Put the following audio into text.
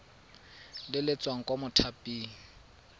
le le tswang kwa mothaping